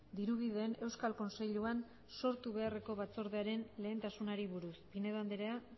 dirubideen euskal kontseiluan sortu beharreko batzordearen lehentasunei buruz pinedo andrea